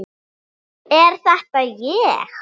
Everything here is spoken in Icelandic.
Er þetta ég!?